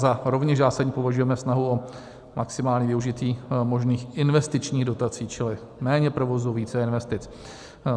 Za rovněž zásadní považujeme snahu o maximální využití možných investičních dotací, čili méně provozu, více investic.